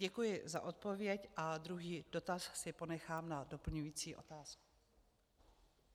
Děkuji za odpověď a druhý dotaz si ponechám na doplňující otázku.